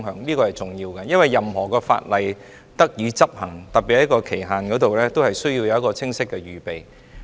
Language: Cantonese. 這是重要的，因為任何法例若要得以執行，都需要在期限方面有清晰的預備。